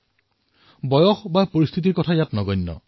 ইয়াৰ কোনো বয়স কোনো পৰিস্থিতিৰ কথা নাহে